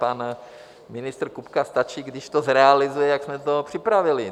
Panu ministru Kupkovi stačí, když to zrealizuje, jak jsme to připravili.